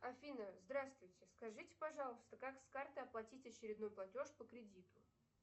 афина здравствуйте скажите пожалуйста как с карты оплатить очередной платеж по кредиту